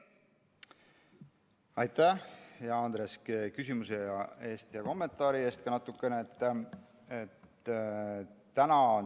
Aitäh, hea Andres, küsimuse ja kommentaari eest ka natukene!